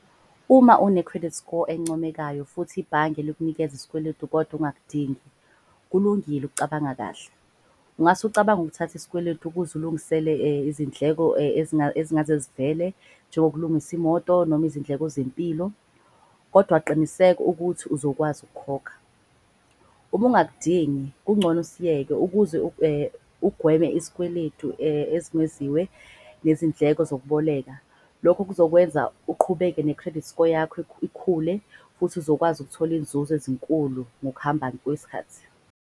Uma une-credit score encomekayo futhi ibhange likunikeza iskweletu kodwa engakudingi. Kulungile ukucabanga kahle, ungase ucabange ukuthatha isikweletu ukuze ulungisele izindleko ezingaze zivele. Njengokulungisa imoto noma izindleko zempilo kodwa qiniseka ukuthi uzokwazi ukukhokha. Uma ungakudingi kungcono usiyeke ukuze ugweme iskweledu esingeziwe nezindleko zokuboleka. Lokho kuzokwenza uqhubeke ne-credit score yakho ikhule. Futhi uzokwazi ukuthola izinzuzo ezinkulu ngokuhamba kwesikhathi.